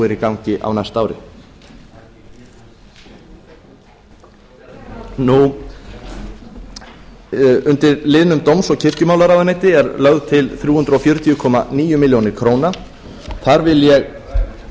eru í gangi á næsta ári undir liðnum dóms og kirkjumálaráðuneyti er lögð til þrjú hundruð fjörutíu komma níu ár þar vil ég